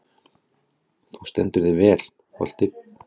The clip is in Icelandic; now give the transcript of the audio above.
Þú stendur þig vel, Holti!